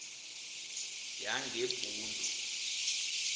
yangebhundu